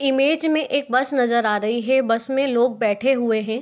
Image मे एक bus नजर आ रही है बस मे लोग बैठे हुए है।